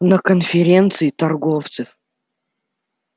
на конференции торговцев